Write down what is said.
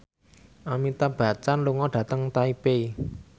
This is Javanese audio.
Amitabh Bachchan lunga dhateng Taipei